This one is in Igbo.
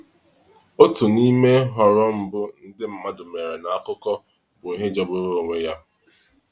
Otu n’ime nhọrọ mbụ ndị mmadụ mere n’akụkọ bụ ihe jọgburu onwe ya.